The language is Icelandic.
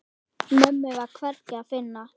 Mömmu var hvergi að finna.